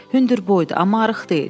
Hündür boydu, amma arıq deyil.